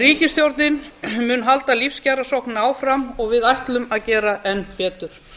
ríkisstjórnin mun halda lífskjarasókninni áfram og við ætlum að gera enn betur